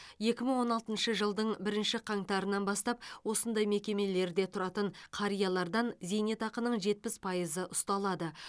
екі мың он алтыншы жылдың бірінші қаңтарынан бастап осындай мекемелерде тұратын қариялардан зейнетақының жетпіс пайызы ұсталады